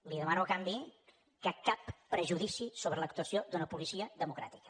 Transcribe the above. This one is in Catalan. li demano a canvi que cap prejudici sobre l’actuació d’una policia democràtica